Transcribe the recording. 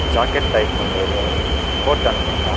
Jacket type ఉంది. ఏదో coat అనుకుంటా.